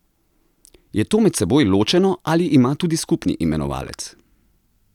Je to med seboj ločeno ali ima tudi skupni imenovalec?